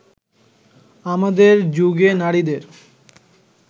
আমাদের যুগে নারীদের